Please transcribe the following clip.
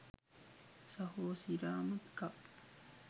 සහෝ සිරාම එකක්